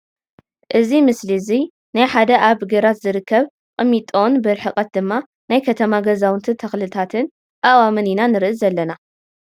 እዚ ምሰሊ እዙይ ናይ ሓደ ኣብ ግራት ዝርከብ ቅሚጦን ብርሕቀት ድማ ናይ ከተማ ገዛውትን ተክልታትን አእዋምን ኢና ንርኢ አላና ።